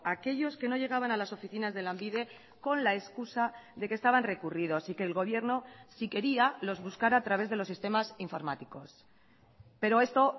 aquellos que no llegaban a las oficinas de lanbide con la excusa de que estaban recurridos y que el gobierno si quería los buscará a través de los sistemas informáticos pero esto